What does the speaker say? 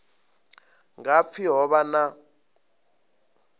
nga pfi ho vha na